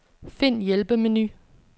Find hjælpemenu.